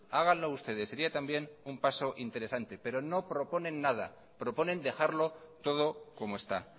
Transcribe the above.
háganlo ustedes sería también un paso interesante pero no proponen nada proponen dejarlo todo como está